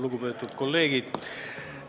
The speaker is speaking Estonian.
Lugupeetud kolleegid!